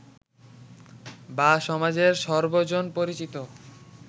বা সমাজের সর্বজন পরিচিত